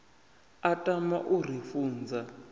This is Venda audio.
a tama u ri funza